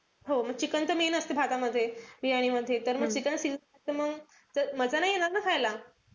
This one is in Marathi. हो म chicken त main असत भातामध्ये बिर्याणीमध्ये. तर chicken मजा नाई येणार ना खायला.